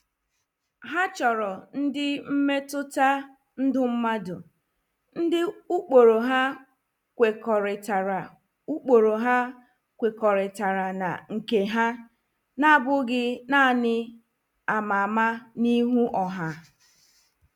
Ha chọrọ ndị mmetụta ndụ mmadụ, ndị ụkpụrụ ha kwekọrịtara ụkpụrụ ha kwekọrịtara na nke ha, na-abụghị naanị ama ama n'ihu ọha.